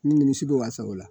Ni si sago la